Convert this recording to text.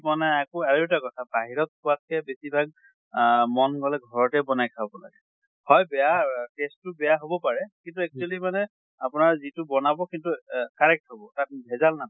বনায় আকৌ আৰু এটা কথা বাহিৰত খোৱাত কে বেছি ভাগ আহ মন গলে ঘৰতে বনাই খাব লাগে। হয় বেয়া taste টো বেয়া হʼব পাৰে, কিন্তু actually মানে আপোনাৰ যিটো বনাব সেইটো এহ correct হʼব। তাত ভেজাম নাথাকে।